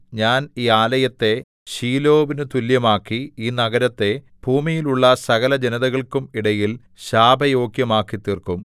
ഞാൻ ഈ ആലയത്തെ ശീലോവിനു തുല്യമാക്കി ഈ നഗരത്തെ ഭൂമിയിലുള്ള സകലജനതകൾക്കും ഇടയിൽ ശാപയോഗ്യമാക്കിത്തീർക്കും